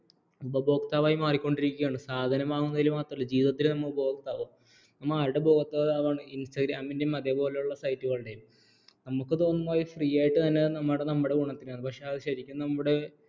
ഉപഭോക്തവായി മാറിക്കൊണ്ടിരിക്കുകയാണ് സാധനം വാങ്ങുന്നതിൽ മാത്രമല്ല ജീവിതത്തിൽ നമ്മൾ ഉപഭോക്താവ് നമ്മൾ ആരുടെ ഉപഭോക്താവാണ് instagram ൻ്റെയും അതേപോലെയുള്ള site കളുടെയും നമുക്ക് തോന്നും അവർ free ആയിട്ട് തരുന്ന നമ്മുടെ നമ്മുടെ ഗുണത്തിനാണ് പക്ഷേ അത് ശരിക്കും നമ്മുടെ